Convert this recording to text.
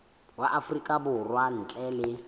wa afrika borwa ntle le